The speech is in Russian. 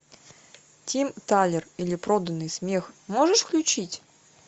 тим талер или проданный смех можешь включить